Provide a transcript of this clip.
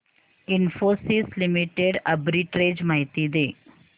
Infosys Limited arbitrage माहिती दे